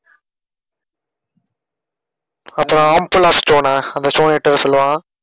அப்ப அந்த omphalos stone ஆ stone அ எடுத்துட்டுவர சொல்லுவான்